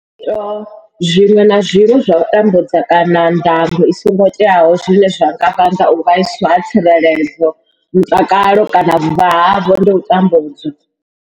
Zwiito zwiṅwe na zwiṅwe zwa u tambudza kana ndango i songo teaho zwine zwa nga vhanga u vhaiswa ha tsireledzo, mutakalo kana vhuvha havho ndi u tambudzwa.